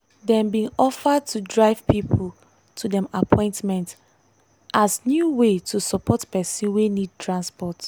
dem bin offer to drive pipo to dem appointment as new way to support person wey need transport.